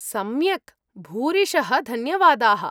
सम्यक्! भूरिशः धन्यवादाः।